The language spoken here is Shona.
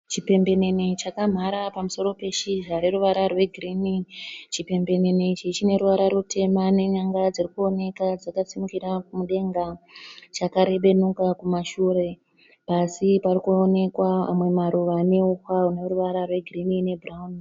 Chipembenene chakamhara pamusoro peshizha reruvara rwegirini. Chipembenene ichi chineruva rutema nenyanga dzirikuoneka dzakasimukira mudenga, chakarebenuka kumashure. Pasi parikuonekwa amwe maruva neuswa huneruvara rwegirini nebhurauni.